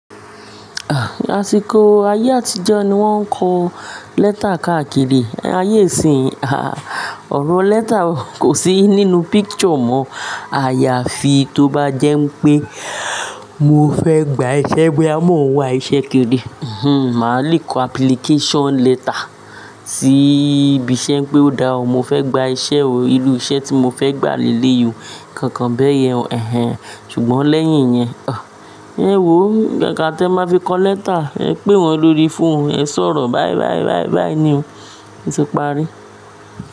Àsìkò ayé àtijọ́ ni wọ́n ń kọ lẹ́tà káàkiri, ayé ìsìnyìí, à, ọ̀rọ̀ lẹ́tà kò sí nínú picture mọ̀. Ààyà fi tó bá jẹ́ pé mo fẹ́ gba iṣẹ́, bòyá mọ́ n wá iṣẹ́ kiri. Màá le kọ application letter sí ibi iṣẹ́ pé ó dáa, mo fẹ́ gba iṣẹ́ o, irú iṣẹ́ tí mo fẹ́ gbà lè léyì o kankan bẹ́yẹn. Ẹ̀hẹn. Ṣùgbọ́n lẹ́yìn yẹn, ẹ wò ó, gangan tí ẹ máa fi kọ lẹ́tà, ẹ pè wọ́n lórí fóònù, ẹ sọ̀rọ̀. Báyi, báyi, báyi ni o Ó ti parí.